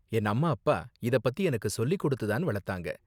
என் அம்மா அப்பா இதப் பத்தி எனக்கு சொல்லி கொடுத்து தான் வளத்தாங்க.